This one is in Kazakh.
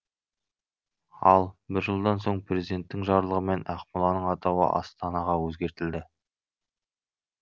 ал бір жылдан соң президенттің жарлығымен ақмоланың атауы астанаға өзгертілді